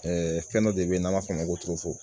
fɛn dɔ de bɛ n'an b'a fɔ o ma ko